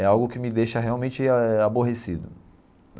é algo que me deixa realmente ah aborrecido.